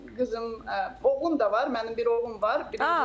Qızım oğlum da var, mənim bir oğlum var.